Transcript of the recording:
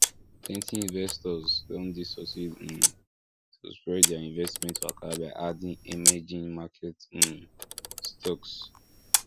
plenty investors don dey succeed um to spread their investment waka by adding emerging market um stocks